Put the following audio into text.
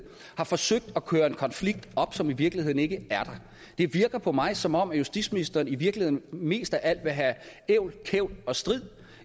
har forsøgt at køre en konflikt op som i virkeligheden ikke er der det virker på mig som om justitsministeren i virkeligheden mest af alt vil have ævl kævl og strid